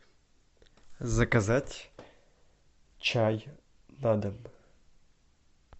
заказать чай на дом